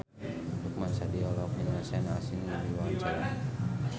Lukman Sardi olohok ningali Sean Astin keur diwawancara